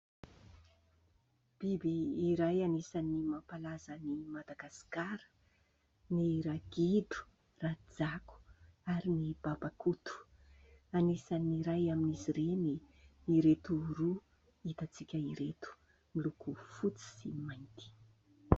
Biby iray anisan'ny mampalazan'i Madagasikara ny ragidro, rajako ary ny babakoto. Anisan'ny iray amin'izy ireny ireto roa hitantsika ireto, miloko fotsy sy mainty.